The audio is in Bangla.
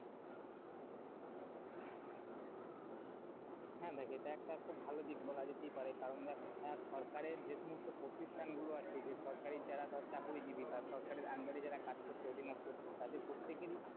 হ্যাঁ, দেখ এটা একটা খুব ভালো দিক বলা যেতেই পারে কারণ দেখ সরকারে যে সমস্ত প্রতিষ্ঠান গুলো আছে যে সরকারি যারা ধর চাকুরীজীবি বা সরকারের under এ যারা কাজ করছে অর্জিনপ্ত তারা প্রত্যেকেরই,